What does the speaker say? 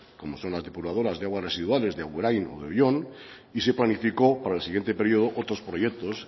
como son las depuradoras de aguas residuales de agurain o de oion y se planificó para el siguiente periodo otros proyectos